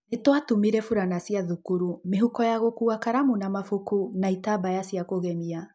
Ni twatumire furana cia thũkuru, mĩhuko ya gũkua karamu na mabuku na itambaya cia kũgemia.